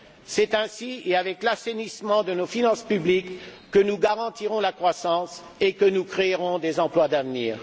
C'est ainsi, et avec l'assainissement de nos finances publiques que nous garantirons la croissance et que nous créerons des emplois d'avenir.